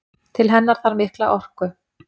Til hennar þarf mikla orku.